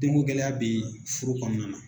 Den ŋo gɛlɛya be furu kɔɔna na